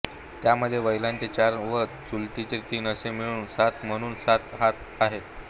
त्यांमध्ये वैलाचे चार व चुलीचे तीन असे मिळून सात म्हणून सात हात आहेत